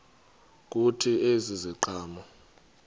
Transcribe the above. kuthi ezi ziqhamo